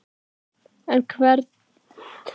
En hver getur verið skýringin á þessari hækkun?